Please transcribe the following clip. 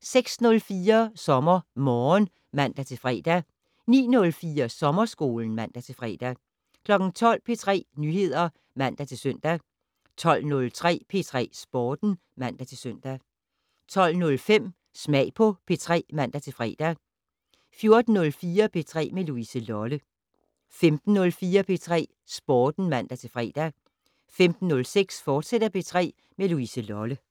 06:04: SommerMorgen (man-fre) 09:04: Sommerskolen (man-fre) 12:00: P3 Nyheder (man-søn) 12:03: P3 Sporten (man-søn) 12:05: Smag på P3 (man-fre) 14:04: P3 med Louise Lolle 15:04: P3 Sporten (man-fre) 15:06: P3 med Louise Lolle, fortsat